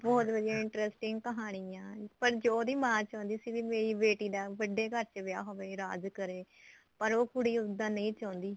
ਵੀ ਬਹੁਤ ਵਧੀਆ interesting ਕਹਾਣੀ ਐ ਪਰ ਜੋ ਉਹਦੀ ਮਾਂ ਚਾਹੁੰਦੀ ਸੀ ਮੇਰੀ ਬੇਟੀ ਦਾ ਵੱਡੇ ਘਰ ਚ ਵਿਆਹ ਹੋਵੇ ਰਾਜ ਕਰੇ ਪਰ ਉਹ ਕੁੜੀ ਉੱਦਾਂ ਨਹੀਂ ਚਾਹੁੰਦੀ